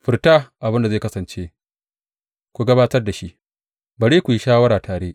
Furta abin da zai kasance, ku gabatar da shi, bari su yi shawara tare.